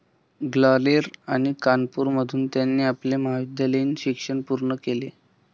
ग्वालेर आणि कानपूरमधून त्यांनी आपले महाविद्यालयीन शिक्षण पूर्ण केले.